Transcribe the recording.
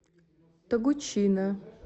тогучина